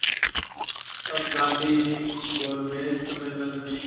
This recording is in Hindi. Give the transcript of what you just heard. तब गांधी गोलमेज सम्मेलन में